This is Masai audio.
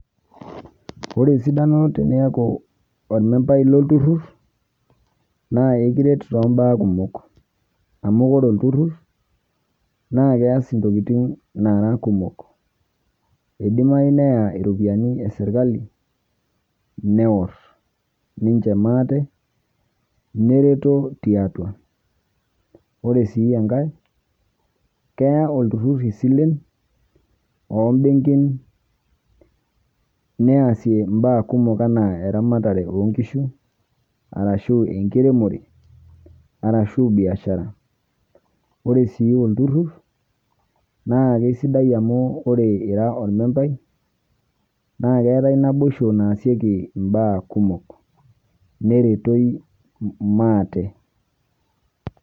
Ore esidano teniaku ormembai lolturur na ekiret tombaa kumok amu ore olturut na keas ntokitin nara kumok idimayu neya ropiyiani eserkali, newor ninche maate nereto tiatua, ore si enkae keya olturuk isilen ombenkin neasie mbaa kumok anaa eramatare enkishu arashu enkiremore arashu biashara ore si olturur na kesidai amu ore ira or membai na keetae naboisho naasieki mbaa kumok nerertoi maate.